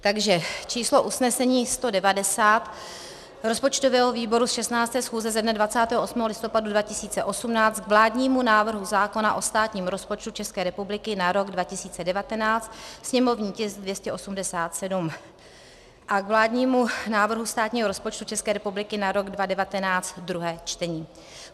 Takže číslo usnesení 190 rozpočtového výboru ze 16. schůze ze dne 28. listopadu 2018 k vládnímu návrhu zákona o státním rozpočtu České republiky na rok 2019, sněmovní tisk 287, a k vládnímu návrhu státního rozpočtu České republiky na rok 2019, druhé čtení: